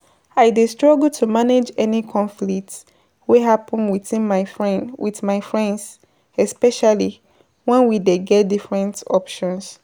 I dey struggle to manage any conflict wey happen within my friend, with my friends, especially wen we dey get different options.